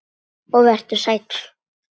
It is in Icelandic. Og vertu sæll.